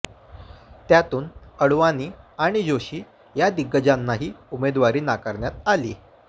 त्यातून आडवाणी आणि जोशी या दिग्गजांनाही उमेदवारी नाकारण्यात आली